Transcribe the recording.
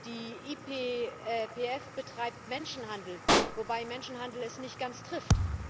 Die IPPF betreibt Menschenhandel, wobei Menschenhandel es nicht ganz trifft.